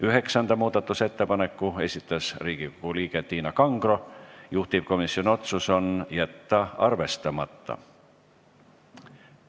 Üheksanda muudatusettepaneku on esitanud Riigikogu liige Tiina Kangro, juhtivkomisjoni otsus on jätta arvestamata.